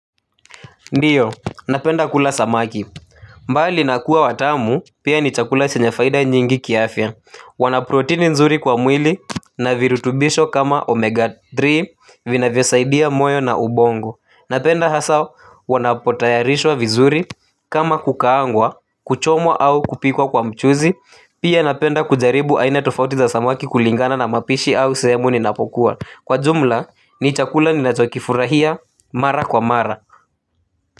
Ndiyo napenda kula samaki. Mbali na kuwa watamu pia ni chakula chenye faida nyingi kiafya. Wana protini nzuri kwa mwili na virutubisho kama omega tatu vinavyosaidia moyo na ubongo. Napenda hasa wanapotayarishwa vizuri kama kukaangwa kuchomwa au kupikwa kwa mchuzi. Pia napenda kujaribu aina tofauti za samaki kulingana na mapishi au sehemu ninapokuwa. Kwa jumla ni chakula ninachokifurahia mara kwa mara. Kwa hivyo.